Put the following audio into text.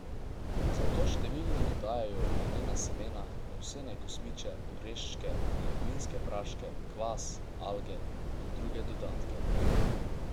Zato številni dodajajo lanena semena, ovsene kosmiče, oreščke, beljakovinske praške, kvas, alge in druge dodatke.